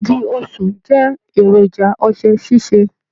Igi osùn jẹ èròjà ọṣẹ sise.